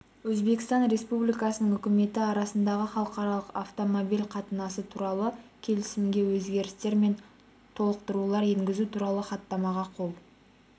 өзбекстан республикасының үкіметі арасындағы халықаралық автомобиль қатынасы туралы келісімгеөзгерістер мен толықтырулар енгізу туралы хаттамаға қол